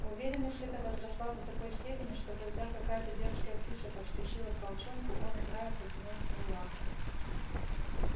уверенность эта возросла до такой степени что когда какая то дерзкая птица подскочила к волчонку он играя протянул к ней лапу